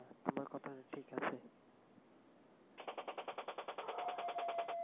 আর তোমার ঠিক আছে।